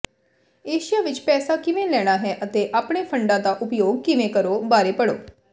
Asia ਵਿੱਚ ਪੈਸਾ ਕਿਵੇਂ ਲੈਣਾ ਹੈ ਅਤੇ ਆਪਣੇ ਫੰਡਾਂ ਦਾ ਉਪਯੋਗ ਕਿਵੇਂ ਕਰੋ ਬਾਰੇ ਪੜ੍ਹੋ